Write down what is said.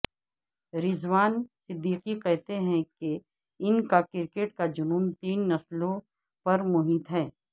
رضوان صدیقی کہتے ہیں کہ ان کا کرکٹ کا جنون تین نسلوں پرمحیط ہے